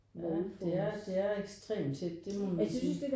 Ja det er det er ekstrem tæt det må man sige